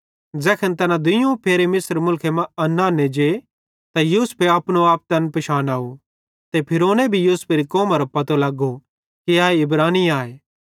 ज़ैखन तैना दुइयोवं फेरे मिस्र मुलखे मां अन्न आन्ने जे त यूसुफे अपनो आप तैन पिशानाव ते फ़िरौने भी यूसुफेरी कौमरो पतो लगो कि ए इब्रानी आए